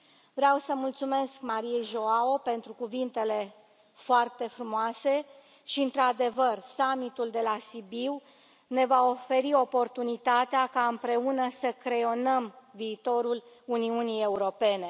Vreau să îi mulțumesc Mariei João Rodrigues pentru cuvintele foarte frumoase și, într adevăr, summitul de la Sibiu ne va oferi oportunitatea ca, împreună, să creionăm viitorul Uniunii Europene.